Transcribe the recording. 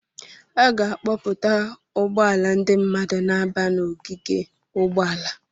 A ga-akpọpụta ụgbọala ndị mmadụ na-aba n'ogige ụgbọala.